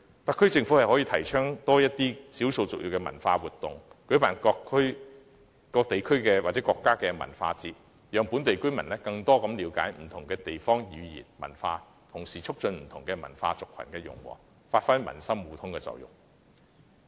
特區政府可多些提倡少數族裔文化活動，舉辦各地區或國家文化節，讓本地居民更了解不同地方的語言和文化，同時促進不同文化族群的融和，達致民心互通的目的。